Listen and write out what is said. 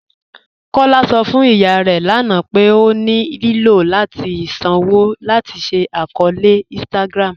Kọla sọ fún ìyà rẹ lána pé ó ní ilò láti sànwo láti ṣí àkọọ̀lẹ̀ Instagram̀